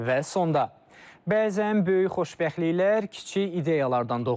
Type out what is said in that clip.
Və sonda bəzən böyük xoşbəxtliklər kiçik ideyalardan doğur.